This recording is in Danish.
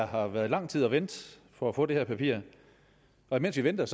har været lang tid at vente for at få det her papir og imens vi ventede